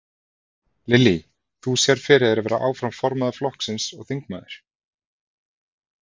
Lillý: Þú sérð fyrir þér að vera áfram formaður flokksins og þingmaður?